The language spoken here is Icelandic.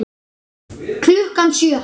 Klukkan sjö.